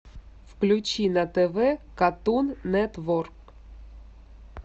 включи на тв катун нетворк